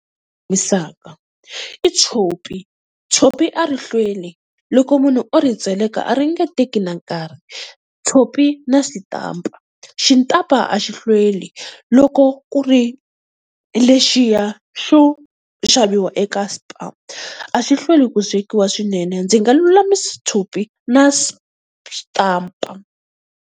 Lulamisaka i tshopi, tshopi a ri hlweli loko munhu o ri tseleka a ri nge teki na nkarhi. Tshopi na xitampa, xitampa a xi hlweli loko ku ri lexiya xo xaviwa eka Spar. A xi hlweli ku swekiwa swinene ndzi nga lulamise tshopi na xitampa.